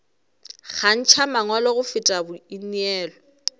kgantšha mangwalo go feta boineelo